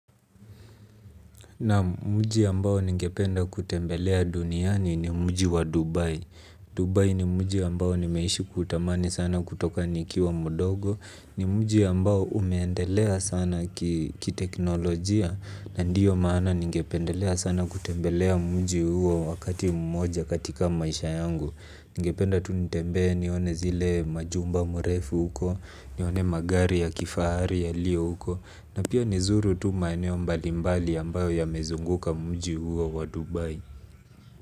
Naam, mji ambao ningependa kutembelea duniani ni mji wa Dubai. Dubai ni mji ambao nimeishi kutamani sana kutoka nikiwa mdogo. Ni mji ambao umeendelea sana kiteknolojia. Na ndio maana ningependelea sana kutembelea mji huo wakati mmoja katika maisha yangu. Ningependa tu nitembee nione zile majumba mrefu huko. Nione magari ya kifahari yaliyo huko. Na pia nizuru tu maeneo mbalimbali ambayo yamezunguka mji huo wa Dubai.